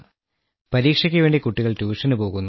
പരീക്ഷയ്ക്കു വേണ്ടി കുട്ടികൾ ട്യൂഷന് പോകുന്നു